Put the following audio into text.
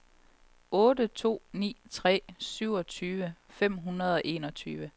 otte to ni tre syvogtyve fem hundrede og enogtyve